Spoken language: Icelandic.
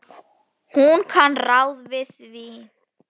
Hún kann ráð við því.